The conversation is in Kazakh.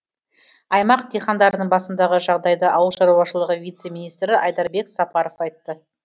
аймақ дихандарының басындағы жағдайды ауыл шаруашылығы вице министрі айдарбек сапаров айтты